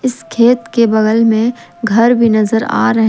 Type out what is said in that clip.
इस खेत के बगल में घर भी नजर आ रहे--